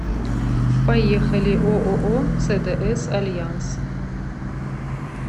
поехали ооо цдс альянс